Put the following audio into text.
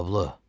Loblə.